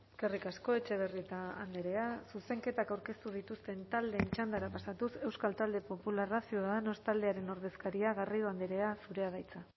eskerrik asko etxebarrieta andrea zuzenketak aurkeztu dituzten taldeen txandara pasatuz euskal talde popularra ciudadanos taldearen ordezkaria garrido andrea zurea da hitza